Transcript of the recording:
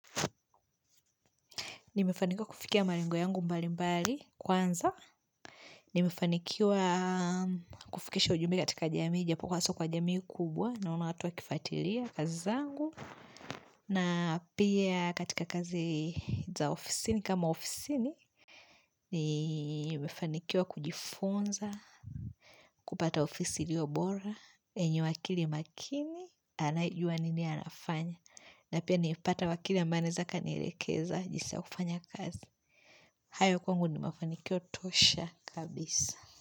Nimefanikiwa kufikia malengo yangu mbali mbali kwanza nimefanikiwa kufikisha ujumbe katika jamii japo kwazo kwa jamii kubwa naona watu waki fuatilia kazizangu na pia katika kazi za ofisini kama ofisini nimefanikiwa kujifunza kupata ofisi iliyo bora yenye wakili makini anayejua nini anafanya na pia nipata wakili ambaye anaeza kanielekeza jinsi ya kufanya kazi hayo kwangu ni mafanikio tosha kabisa.